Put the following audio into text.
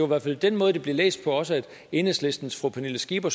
hvert fald den måde det blev læst på også at enhedslistens fru pernille skipper